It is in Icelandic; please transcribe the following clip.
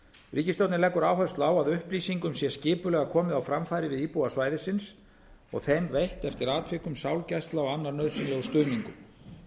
ríkisstjórnin leggur áherslu á að upplýsingum sé skipulega komið á framfæri við íbúa svæðisins og þeim veitt eftir atvikum sálgæsla og annar nauðsynlegur stuðningur